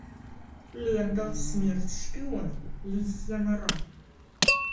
лента смерть шпионам лисья нора